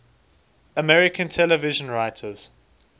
american television writers